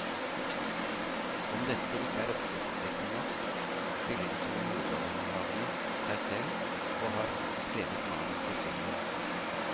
Om dette ikke er oppsiktsvekkende nok, spiller de to hovedrolleinnehaverne seg selv og har skrevet manus til filmen.